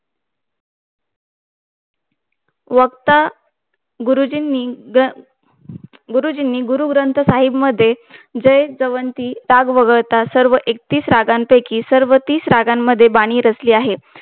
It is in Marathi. वक्ता गुरुंजींनी गुरु ग्रंथ साहेब मध्ये जे दवंती दात वगळता सर्व एकतीस रागांपैकी सर्व तीस रागांमध्ये बानी रचली आहे